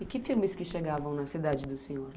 E que filmes que chegavam na cidade do senhor lá?